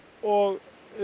og